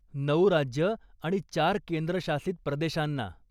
नऊ राज्य आणि चार केंद्रशासित प्रदेशांना.